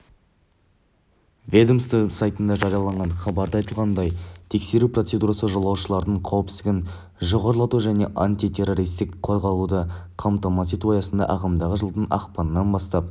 ведомство сайтында жарияланған хабарда айтылғандай тексеру процедурасы жолаушылардың қауіпсіздігін жоғарлату және антитеррористік қорғалуды қамтамасыз ету аясында ағымдағы жылдың ақпаннан бастап